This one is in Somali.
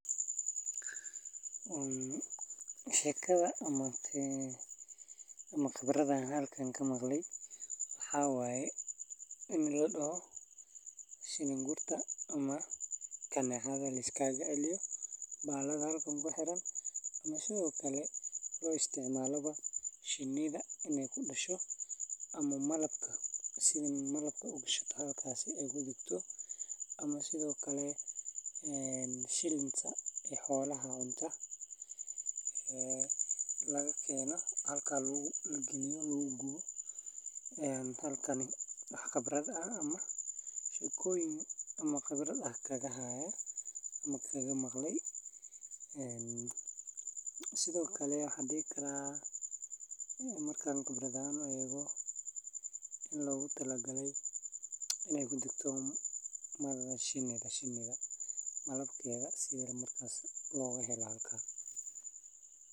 Sheekada, waa guryaha ay shinniida ku nool yihiin oo ay ku walaalaan, kuwaas oo inta badan laga sameeyaa laan, qoryo, ama waxyaabo kale oo dabiici ah sida geedaha, halkaas oo ay shinniinku isugu keenaan malabkooda, waxayna sameeyaan malab adag oo macaan oo ay ka heshiiyaan ubaxyo kala duwan, qoryuhu waa mid kasta oo leh qaab qarsoon oo ka kooban shaandhooyin badan oo shinniinku isku dhex gelaan, waxayna leeyihiin meelo gaar ah oo loo kaydiyo malabka, baalasha, iyo ukunta shinniinka, sidaas awgeed qoryuhu waa muhiim u ah nolosha shinniinka iyo wax soo saarka malabka.